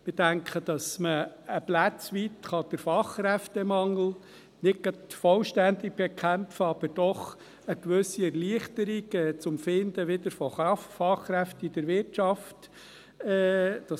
Wir denken, dass man ein Stück weit den Fachkräftemangel zwar nicht gerade vollständig bekämpfen kann, aber dadurch doch eine gewisse Erleichterung bringen kann, um wieder Fachkräfte in der Wirtschaft zu finden.